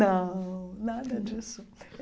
Não, nada disso.